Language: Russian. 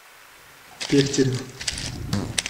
пехтерев